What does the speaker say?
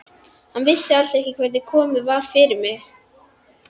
Hann vissi alls ekki hvernig komið var fyrir mér.